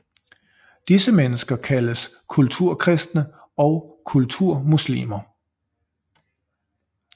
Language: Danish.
Disse mennesker kaldes kulturkristne og kulturmuslimer